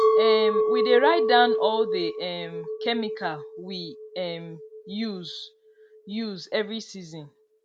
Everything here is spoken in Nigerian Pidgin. um we dey write down all the um chemical we um use use every season